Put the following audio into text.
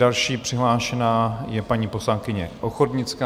Další přihlášená je paní poslankyně Ochodnická.